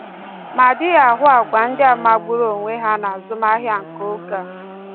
Ma a dịghị ahụ agwa ndị a magburu onwe ha n’azụmahịa nke oge a.